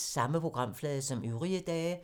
Samme programflade som øvrige dage